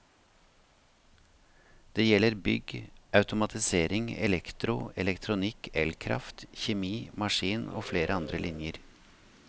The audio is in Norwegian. Det gjelder bygg, automatisering, elektro, elektronikk, elkraft, kjemi, maskin og flere andre linjer.